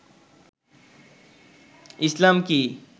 ইসলাম কি